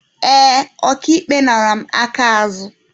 Ee, Ọka ikpe nara mụ aka azụ.